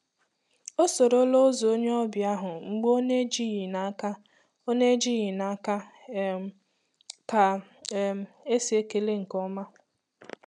Ọ soro la ụzọ onye ọbịa ahụ mgbe ọ na-ejighi n'aka ọ na-ejighi n'aka um ka um esi ekele nke ọma.